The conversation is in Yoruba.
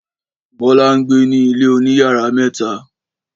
Bọ́lá ń gbé ní ilé oníyàrá mẹ́ta.